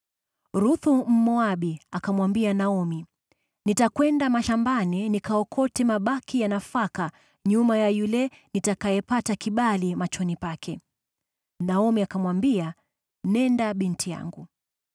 Ruthu, Mmoabu, akamwambia Naomi, “Nitakwenda mashambani nikaokote mabaki ya nafaka nyuma ya yule nitakayepata kibali machoni pake.” Naomi akamwambia, “Nenda, binti yangu.”